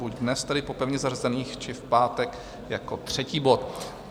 Buď dnes tedy po pevně zařazených či v pátek jako třetí bod.